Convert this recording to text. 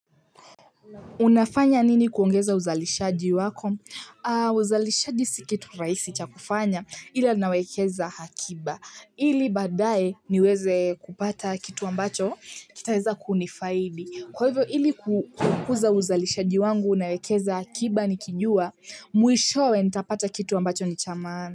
Unafanya nini kuongeza uzalishaji wako? Uzalishaji si kitu rahisi cha kufanya ila nawekeza akiba. Ili baadaye niweze kupata kitu ambacho kitaweza kunifaidi. Kwa hivyo ili kukuza uzalishaji wangu nawekeza akiba nikijua mwishowe nitapata kitu ambacho ni cha maana.